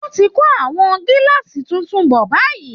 Wọ́n ti ń kó àwọn gíláàsì tuntun bọ̀ báyìí